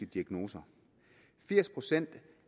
diagnose og firs procent